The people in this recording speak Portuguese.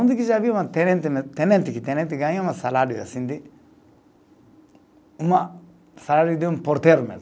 Onde que já viu uma tenente ne, tenente que tenente ganha um salário assim de uma, salário de um porteiro mesmo?